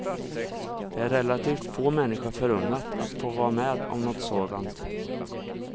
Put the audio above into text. Det är relativt få människor förunnat att få vara med om något sådant.